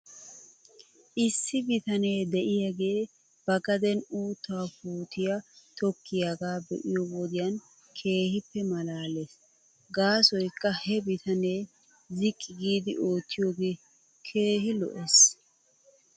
Issi bitanee de'iyaagee ba gaden uuttaa puutiyaa tokkiyaagaa be'iyoo wodiyan keehippe malaales. Gaasoykka he bitanee ziqqi giidi oottiyoogee keehi lo'es.